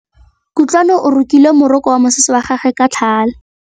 Kutlwanô o rokile morokô wa mosese wa gagwe ka tlhale.